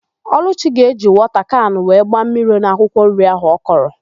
Ọlụchi ga-eji wọta kanụ wee gbaa mmiri n'akwụkwọ nri áhụ̀ ọ kọrọ.